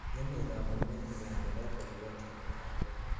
ngemei kamunget nywan nebo kolewen chamet ab gei